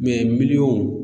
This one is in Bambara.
miliyɔn